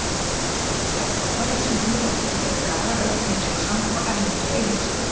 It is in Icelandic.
Þeir dómarar sem um ræðir eru Garðar Örn Hinriksson og Erlendur Eiríksson.